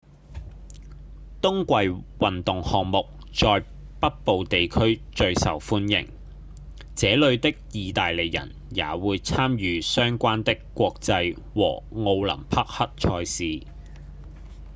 冬季運動項目在北部地區最受歡迎這裡的義大利人也會參與相關的國際和奧林匹克賽事